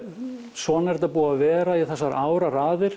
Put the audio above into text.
svona er þetta búið að vera í áraraðir